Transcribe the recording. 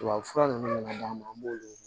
Tubabufura ninnu na an b'olu ye